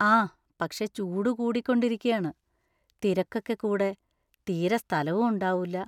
ആ പക്ഷെ ചൂട് കൂടിക്കൊണ്ടിരിക്കയാണ്, തിരക്കൊക്കെ കൂടെ തീരെ സ്ഥലവും ഉണ്ടാവൂല.